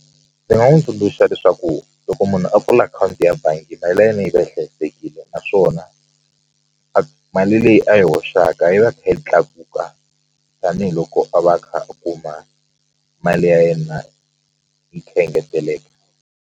Ndzi nga n'wi tsundzuxa leswaku loko munhu a pfula akhawunti ya bangi mali ya yena yi va yi hlayisekile naswona a mali leyi a yi hoxaka yi va kha yi tlakuka tanihiloko a va a kha a kuma mali ya yena yi engeteleka.